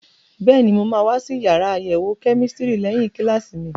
Bẹ́ẹ̀ni, mo máa wá sí yàrá àyẹ̀wò kẹ́mísítírì lẹ́yìn kíláàsì mi.